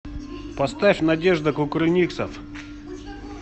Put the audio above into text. поставь надежда кукрыниксов